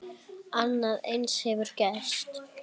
Annað eins hefur gerst.